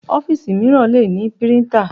Ọ́fíìsì mìíràn le ní píríńtà.